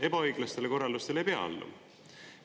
Ebaõiglastele korraldustele ei pea alluma.